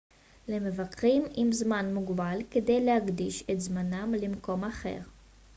למבקרים עם זמן מוגבל כדאי להקדיש את זמנם למקום אחר